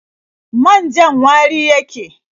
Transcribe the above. Man-jan wari yake.